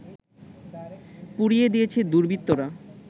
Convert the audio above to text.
পুড়িয়ে দিয়েছে দুর্বৃত্তরা